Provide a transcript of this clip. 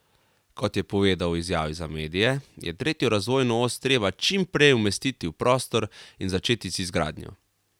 Kot je povedal v izjavi za medije, je tretjo razvojno os treba čim prej umestiti v prostor in začeti z izgradnjo.